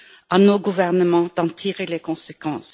À nos gouvernements d'en tirer les conséquences.